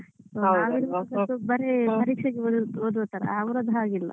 ನಾವಿರುವಾಗ ಬರೀ ಪರೀಕ್ಷೆಗೆ ಓದುವ ತರ ಅವ್ರದ್ದು ಹಾಗಿಲ್ಲ.